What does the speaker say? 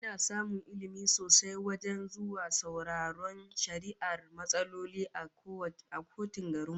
Ina samun Ilmi sosai wajen zuwa sauraron shari'ar matsaloli a kotun garin mu